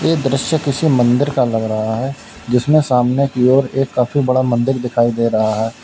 ये दृश्य किसी मंदिर का लग रहा है जिसमें सामने की ओर एक काफी बड़ा मंदिर दिखाई दे रहा है।